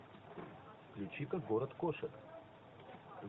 включи ка город кошек